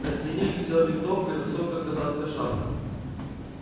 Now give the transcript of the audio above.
на стене висела винтовка и высокая казацкая шапка